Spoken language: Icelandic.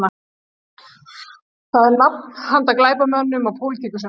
Það er nafn handa glæpamönnum og pólitíkusum